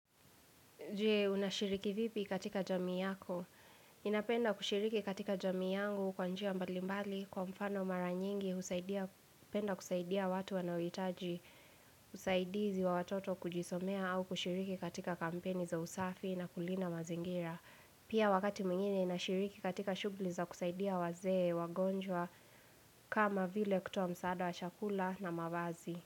Je, unashiriki vipi katika jamii yako? Ninapenda kushiriki katika jamii yangu kwa njia mbalimbali kwa mfano mara nyingi, usaidia, hupenda kusaidia watu wanaoitaji, usaidizi wa watoto kujisomea au kushiriki katika kampeni za usafi na kulinda mazingira. Pia wakati mwingine, ninashiriki katika shugli za kusaidia wazee, wagonjwa, kama vile kutoa msaada wa chakula na mavazi.